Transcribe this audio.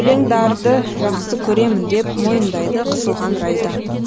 өлеңдарды жақсы көремін деп мойындайды қысылған райда